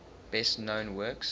best known works